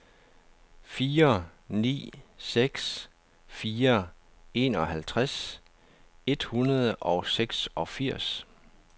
fire ni seks fire enoghalvtreds et hundrede og seksogfirs